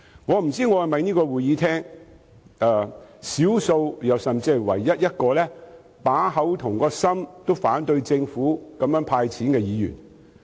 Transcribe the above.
我不知道我是否在會議廳內少數甚至是唯一一個口心如一，反對政府"派錢"的議員。